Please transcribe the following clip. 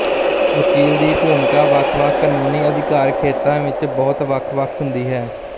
ਵਕੀਲ ਦੀ ਭੂਮਿਕਾ ਵੱਖ ਵੱਖ ਕਾਨੂੰਨੀ ਅਧਿਕਾਰ ਖੇਤਰਾਂ ਵਿੱਚ ਬਹੁਤ ਵੱਖ ਵੱਖ ਹੁੰਦੀ ਹੈ